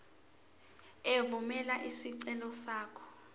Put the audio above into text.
evumela isicelo sakho